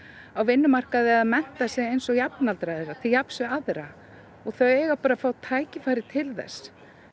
á vinnumarkaði eða mennta sig eins og jafnaldrar þeirra til jafns við aðra og þau eiga bara að fá tækifæri til þess